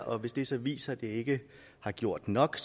og hvis den så viser at det ikke har gjort nok